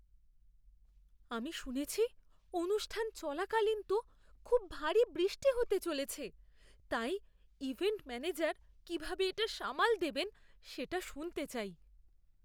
আমি শুনেছি অনুষ্ঠান চলাকালীন তো খুব ভারী বৃষ্টি হতে চলেছে, তাই, ইভেন্ট ম্যানেজার কীভাবে এটা সামাল দেবেন সেটা শুনতে চাই।